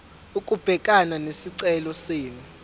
ukubhekana nesicelo senu